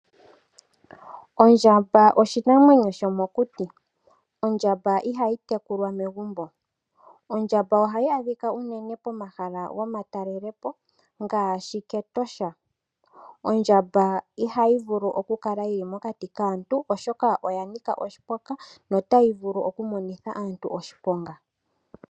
Ondjamba oshinamwenyo shomokuti. Ondjamba ihayi tekulwa megumbo. Ondjamba ohayi adhika unene pomahala gomatalelepo ngaashi kEtosha. Ondjamba ihayi vulu oku kala mokati kaantu oshoka oya nika oshiponga na otayi vulu oku monitha aantu oshiponga.